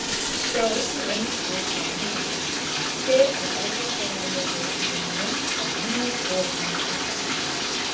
Sjá einnig önnur svör sama höfundar: Hver er erfðafræðilegi munurinn á manni og mannapa?